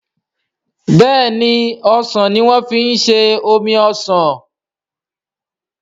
béèni osàn ní wan fí ṣe omí osán.